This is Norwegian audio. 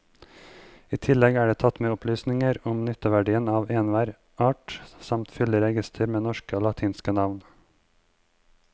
I tillegg er det tatt med opplysninger om nytteverdien av enhver art samt fyldig reigister med norske og latinske navn.